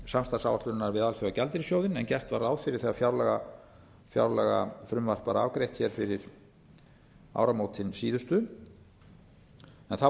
samstarfsáætluninni við alþjóðagjaldeyrissjóðinn en gert var ráð fyrir þegar fjárlagafrumvarp var afgreitt hér fyrir áramótin síðustu en þá